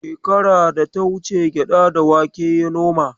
Shekara da ta wuce gyaɗa da wake ya noma.